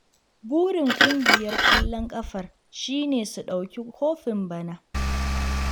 Burin ƙungiyar ƙwallon ƙafar shi ne su ɗauki kofin bana.